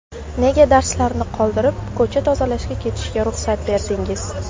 Nega darslarni qoldirib, ko‘cha tozalashga ketishiga ruxsat berdingiz?